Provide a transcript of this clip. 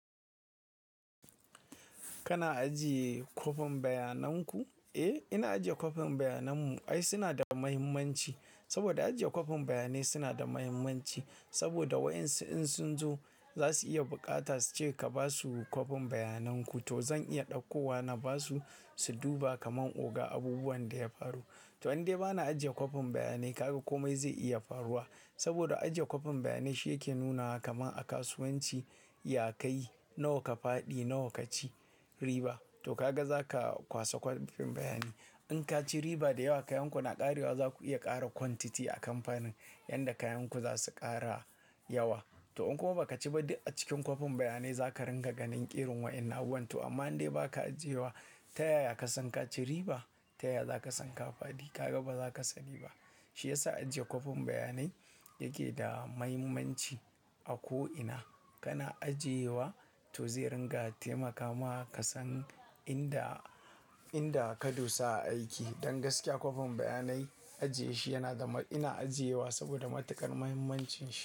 Kana ajiye kwafin bayanan ku? Eh, ina ajiye kwafin bayanan mu. Ai suna da muhimmanci saboda ajiye kwafin bayanai suna da muhimmanci saboda waɗansu in sun zo za su iya bukata su ce ka ba su kwafin bayanan ku to zan iya ɗauko wani ba su, su duba kamar oga abubuwan da ya faru. To in dai ba na ajiye kwafin bayanai kaga komai zai iya faruwa saboda ajiye kwafin bayanai shi yake nuna wa kamar a kasuwanci yakayi nawa ka faɗi nawa ka ci riba. To kaga za ka kwaso kwafin bayani. In ka ci riba da yawa kayan ku na ƙarewa za ku iya ƙara quantity a kamfanin yanda kayan ku za su ƙara yawa. To in kuma ba ka ci ba duk a cikin kwafin bayanai za ka ringa ganin irin waɗanna abubuwan. To amma in dai ba ka ajiye wa ta yaya ka san ka ci riba? Ta yaya za ka san ka faɗi? Kaga ba za ka saniba. Shi ya sa ajiye kwafin bayanai yake da mahimmanci a ko'ina kana ajiye wa to zai ringa taimakawa ka san inda, inda ka dosa a aiki. Don gaskiya kwafin bayanai ajiye shi yana da ma-- ina ajiye wa saboda matukar muhimmancin shi.